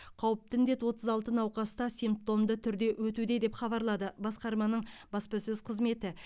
қауіпті індет отыз алты науқаста симптомды түрде өтуде деп хабарлады басқарманың баспасөз қызметі